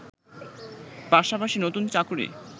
পাশাপাশি নতুন চাকরি